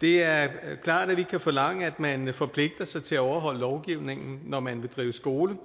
det er klart at vi kan forlange at man forpligter sig til at overholde lovgivningen når man vil drive skole